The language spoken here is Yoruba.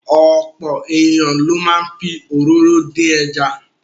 Ọ̀pọ̀ ènìyàn ló máa ń fi òróró dín ẹja.